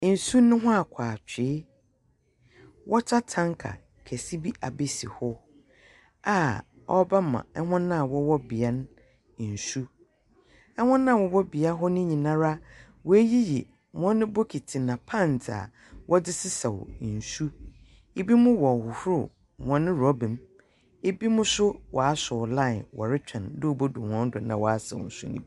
Nsu no hu akɔ atwee wɔta tanka kɛse bi abesi hɔ aa ɔɔbɛma ɛwɔn aa wɔwɔ bea no nsu. Ɛwɔn aa wɔwɔ bea hɔ no nyinara w'ayiyi wɔn bokiti na pans aa wɔde sesaw nsu. Ibi mo wɔɔ huhur wɔn roba mu, ibi mo so waasew lain wɔ rekwɛn dɛɛ obe dur wɔn do na w'asaw nsu nibi.